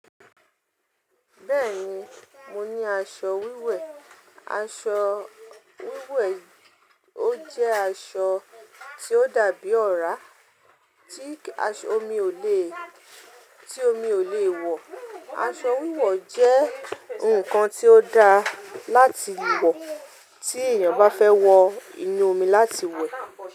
Bẹ́ẹ̀ni, mo ní aṣọ wíwẹ̀. Aṣọ wíwẹ̀ ó jẹ́ aṣọ tí ó dàbí ọ̀rá, tí omi ò lè, tí omi ò lè wọ. Aṣọ wíwẹ̀ jẹ́ nǹkan tí ó dá láti wọ, tí ènìyàn bá fẹ́ wọ inú omi láti wẹ̀